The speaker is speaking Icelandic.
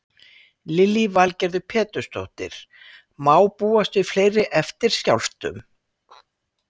Lillý Valgerður Pétursdóttir: Má búast við fleiri eftirskjálftum?